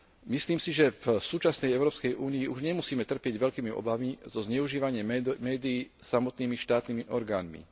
Myslím si, že v súčasnej Európskej únii už nemusíme trpieť veľkými obavami zo zneužívania médií samotnými štátnymi orgánmi.